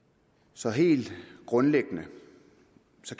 så helt grundlæggende